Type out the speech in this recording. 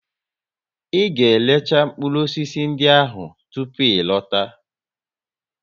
Ị ga récha mkpụrụ osisi ndị ahụ tupu ị lọta!